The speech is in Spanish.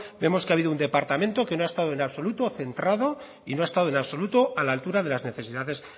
vemos que ha habido un departamento que no ha estado en absoluto centrado y no ha estado en absoluto a la altura de las necesidades